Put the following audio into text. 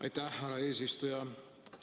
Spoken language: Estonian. Aitäh, härra eesistuja!